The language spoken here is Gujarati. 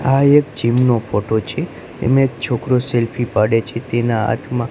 આ એક જિમ નો ફોટો છે એમા એક છોકરો સેલ્ફી પાડે છે તેના હાથમા--